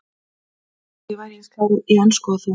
Ég vildi að ég væri eins klár í ensku og þú.